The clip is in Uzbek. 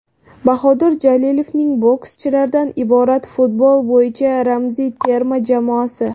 Bahodir Jalolovning bokschilardan iborat futbol bo‘yicha ramziy terma jamoasi .